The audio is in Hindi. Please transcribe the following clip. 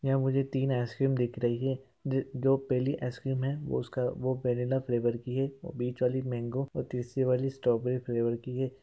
यहाँ मुझे तीन आइसक्रीम दिख रही हैं ज जो पहली आइसक्रीम हैं वो उसका वो वनिल्ला फ्लेवर की हैंऔर बीच वाली मैंगो और तीसरी वाली स्ट्रॉबेरी फ्लेवर की हैं।